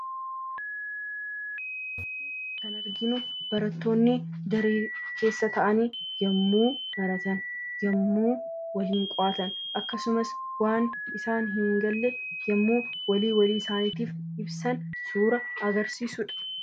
Kan arginu barattoonni daree keessa taa'anii yommuu baratan, yommuu waliin qo'atan akkasumas waan isaaniif hin galle yommuu walii walii isaaniif ibsan kan agarsiisudha.